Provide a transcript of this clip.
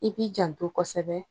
I k'i janto kosɛbɛ